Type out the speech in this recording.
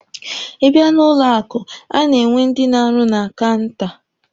Ị bịa n'ụlọ akụ, a na-enwe ndị na-arụ na kaụnta.